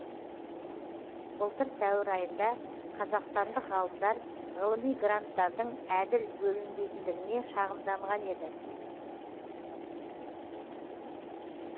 былтыр сәуір айында қазақстандық ғалымдар ғылыми гранттардың әділ бөлінбейтіндігіне шағымданған еді